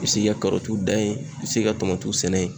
I bi se k'i ka karɔtiw dan yen i bi se k'i ka tamatiw sɛnɛ yen